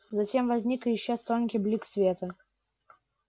затем возник и исчез тонкий блик света